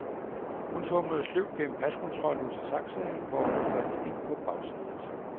Hun tumlede sløvt gennem paskontrollen ud til taxaen, hvor hun faldt ind på bagsædet.